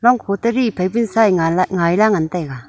longkho teri phaibe tsaingan laihngara ngan taiga.